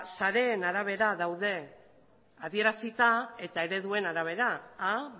sareen arabera daude adierazita eta ereduaren arabera